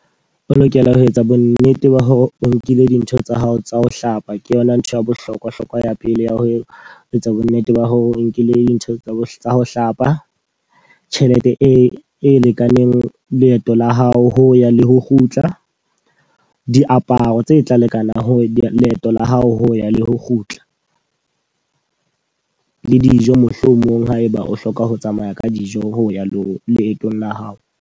O lokela ho etsa bo nnete ba hore o nkile dintho tsa hao tsa ho hlapa, ke yona ntho ya bohlokwa hlokwa ya pele. Ya ho etsa bo nnete ba hore o nkile dintho tsa ho hlapa. Tjhelete e lekaneng leeto la hao, ho ya le ho kgutla. Diaparo tse tla lekanang ho leeto la hao ho ya le ho kgutla. Le dijo mohlomong haeba o hloka ho tsamaya ka dijo ho ya le ho leetong la hao.